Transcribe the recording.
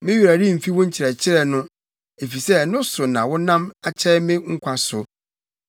Me werɛ remfi wo nkyerɛkyerɛ no, efisɛ ɛno so na wonam akyɛe me nkwa so.